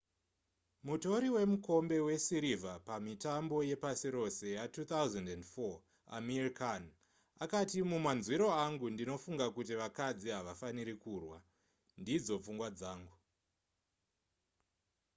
mutori wemukombe wesirivha pamitambo yepasi rose ya2004 amir khan akati mumanzwiro angu ndinofunga kuti vakadzi havafaniri kurwa ndidzo pfungwa dzangu